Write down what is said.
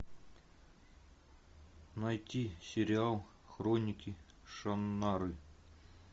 найти сериал хроники шаннары